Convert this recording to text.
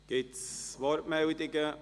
Gibt es Wortmeldungen?